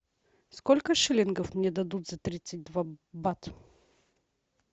сколько шиллингов мне дадут за тридцать два бата